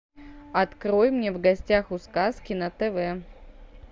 открой мне в гостях у сказки на тв